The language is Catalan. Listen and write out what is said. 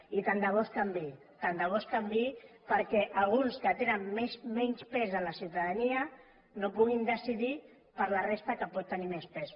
i tant de bo es canviï tant de bo es canviï perquè alguns que tenen menys pes en la ciutadania no puguin decidir per la resta que pot tenir més pes